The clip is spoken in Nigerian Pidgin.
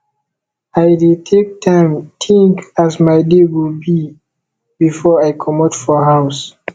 i dey take time tink as my day go be before i comot for house